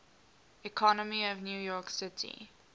economy of new york city